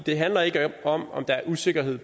det handler ikke om om der er usikkerhed